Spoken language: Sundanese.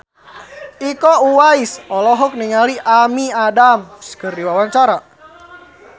Iko Uwais olohok ningali Amy Adams keur diwawancara